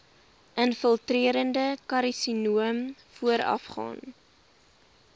infiltrerende karsinoom voorafgaan